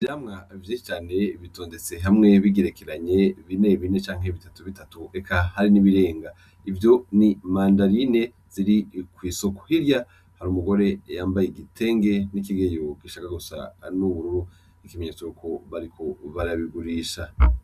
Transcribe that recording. Ivyamwa vyishi cane bitondetse hamwe bigerekeranye binebine canke bitatu bitatu reka hari n'ibirenga ivyo n'imandarine ziri ku isoko hirya hari umugore yambaye igitenge n'ikigeyo gishaka gusa n'ubururu ikimenyetso cuko bariko barabigurisha.